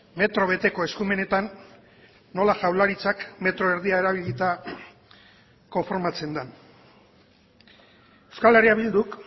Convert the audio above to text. metro beteko eskumenetan nola jaurlaritzak metro erdia erabilita konformatzen den euskal herria bilduk